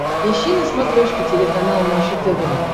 ищи на смотрешке телеканал наше тв